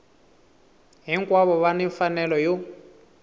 hinkwavo va ni mfanelo yo